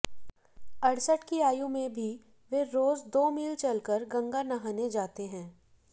अड़सठ की आयु में भी वे रोज दो मील चलकर गंगा नहाने जाते हैं